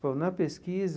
Bom, na pesquisa...